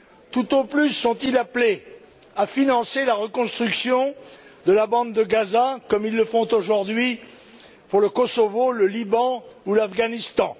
Tout au plus sont ils appelés à financer la reconstruction de la Bande de Gaza, comme ils le font aujourd'hui pour le Kosovo, le Liban ou l'Afghanistan.